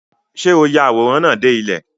Ṣé o ya àwòrán náà dé ilẹ̀?